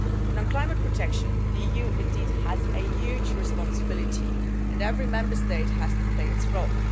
On climate protection, the EU has a huge responsibility and every Member State has to play its role.